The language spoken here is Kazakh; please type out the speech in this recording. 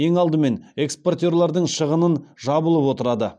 ең алдымен экспортерлардың шығынын жабылып отырады